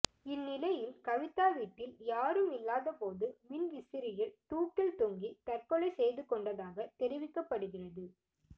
இந்நிலையில் கவிதா வீட்டில் யாரும் இல்லாதபோது மின் விசிறியில் தூக்கில் தொங்கி தற்கொலை செய்துகொண்டதாக தெரிவிக்கப்படுகிறது